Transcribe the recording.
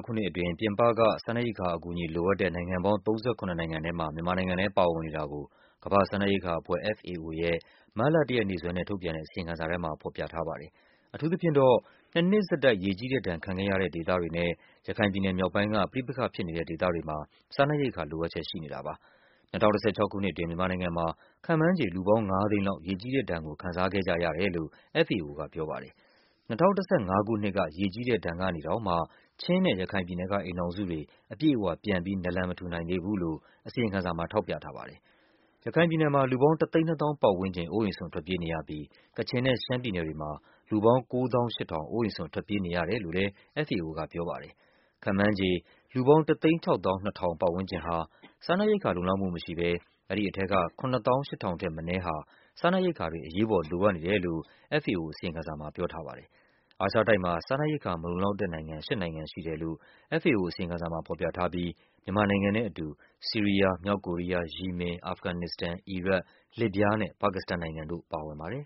ခုနှစ်အတွင်း ပြင်ပက စားနပ်ရိက္ခာအကူအညီ လိုအပ်တဲ့ နိုင်ငံပေါင်း ၃၇ နိုင်ငံထဲမှာ မြန်မာနိုင်ငံလဲ ပါဝင်နေတာကို ကမ္ဘာ့ စားနပ်ရိက္ခာအဖွဲ့ FAO ရဲ့ မတ်လ ၁ ရက်နေ့စွဲနဲ့ထုတ်ပြန်တဲ့ အစီရင်ခံစာထဲမှာ ဖော်ပြထားပါတယ်။ အထူး သဖြင့်တော့ နှစ်နှစ်ဆက်တိုက် ရေကြီးတဲ့ဒဏ် ခံခဲ့ရတဲ့ဒေသတွေနဲ့ ရခိုင်ပြည်နယ်မြောက်ပိုင်းက ပဋိပက္ခဖြစ်နေတဲ့ ဒေသ တွေမှာ စားနပ်ရိက္ခာလိုအပ်ချက် ရှိနေတာပါ။ ၂၀၁၆ ခုနှစ်အတွင်း မြန်မာနိုင်ငံမှာ ခန့်မှန်းခြေ လူပေါင်း ၅၀၀,၀၀၀ လောက် ရေကြီးတဲ့ ဒဏ်ကို ခံစားခဲ့ကြရတယ်လို့ FAO က ပြောပါတယ်။ ၂၀၁၅ ခုနှစ်က ရေကြီးတဲ့ဒဏ် ကနေတောင်မှ ချင်းနဲ့ရခိုင်ပြည်နယ်က အိမ်ထောင်စုတွေ အပြည့်အ၀ ပြန်ပြီး နာလန် မထူနိုင်သေးဘူးလို့ အစီရင်ခံစာမှာ ထောက်ပြထားပါတယ်။ ရခိုင်ပြည်နယ်မှာ လူပေါင်း ၁၂၀,၀၀၀ ပတ်ဝန်းကျင် အိုးအိမ်စွန့်ထွက်ပြေးနေရပြီး ကချင်နဲ့ ရှမ်းပြည်နယ်တွေမှာ လူပေါင်း ၉၈,၀၀၀ အိုးအိမ်စွန့် ထွက်ပြေးနေရတယ်လို့လဲ FAO ကပြောပါတယ်။ ခန့်မှန်းခြေ လူပေါင်း ၁၆၂,၀၀၀ ပတ်ဝန်းကျင်ဟာ စားနပ် ရိက္ခာလုံလောက်မှုမရှိဘဲ အဲဒီထဲက ၇၈,၀၀၀ ထက်မနည်းဟာ စားနပ်ရိက္ခာတွေ အရေးပေါ် လိုအပ်နေတယ်လို့ FAO အစီရင်ခံစာ မှာ ပြောထားပါတယ်။ အာရှတိုက်မှာ စားနပ်ရိက္ခာမလုံလောက်တဲ့နိုင်ငံ ၈ နိုင်ငံရှိတယ်လို့ FAO အစီရင်ခံစာမှာဖော်ပြထားပြီး မြန်မာနိုင်ငံနဲ့အတူ ဆီးရီးယား၊ မြောက်ကိုရီးယား၊ ယီမင်၊ အာဖဂန်နစ္စတန်၊ အီရတ်၊ လစ်ဗျားနဲ့ ပါကစ္စတန်နိုင်ငံတို့ ပါဝင်ပါတယ်။